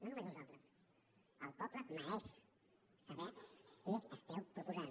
no només nosaltres el poble mereix saber què esteu proposant